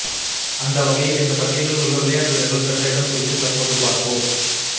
அந்த வகையில் இந்த பட்டியலில் உள்ள விளையாட்டு வீரர்கள் பெற்ற இடம் குறித்து தற்போது பார்ப்போம்